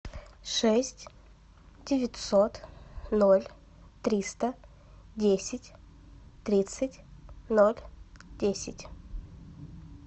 шесть девятьсот ноль триста десять тридцать ноль десять